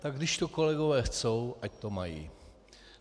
Tak když to kolegové chtějí, ať to mají.